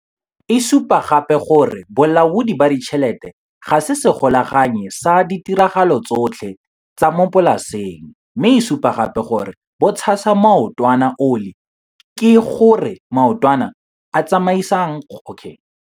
E supa gape gore bolaodi ba ditšhelete ga se segolaganyi sa ditiragalo tsotlhe tsa mo polaseng, mme e supa gape gore bo 'tshasa maotwana oli', ke go re maotwana a a tsamaisang kgwebo ka tshwanno.